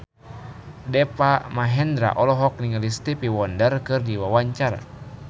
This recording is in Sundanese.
Deva Mahendra olohok ningali Stevie Wonder keur diwawancara